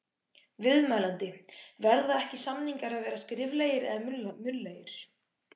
Viðmælandi: Verða ekki, samningar að vera skriflegir eða munnlegir?